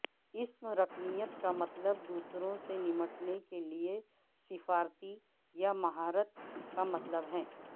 اسم رکنیت کا مطلب دوسروں سے نمٹنے کے لئے سفارتی یا مہارت کا مطلب ہے